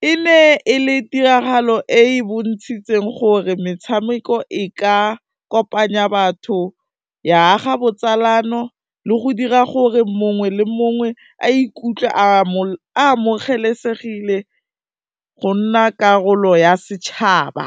e ne e le tiragalo e bontshitseng gore metshameko e ka kopanya batho, ya aga botsalano le go dira gore mongwe le mongwe a ikutlwe amogelesegile go nna karolo ya setšhaba.